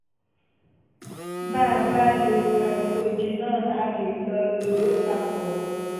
bá a bá lo microgynon a lè lò lò ó papọ̀